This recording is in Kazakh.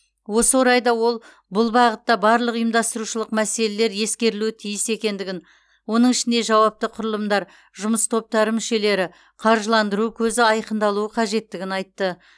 осы орайда ол бұл бағытта барлық ұйымдастырушылық мәселелер ескерілуі тиіс екендігін оның ішінде жауапты құрылымдар жұмыс топтары мүшелері қаржыландыру көзі айқындалуы қажеттігін айтты